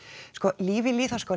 líf í lýðháskóla